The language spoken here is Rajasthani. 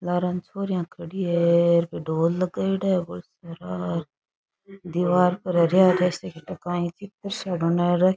लारे छोरिया खड़ी है ढोल लगयेड़ा है भोळा सारा र दिवार पर हरा हरा सा --